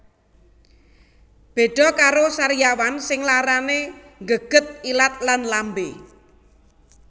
Beda karo sariawan sing larane nggeget ilat lan lambe